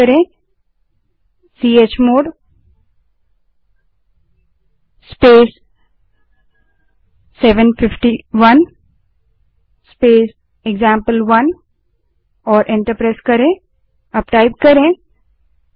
अब chmod space 751 space एक्जाम्पल1 command type करें और एंटर दबायें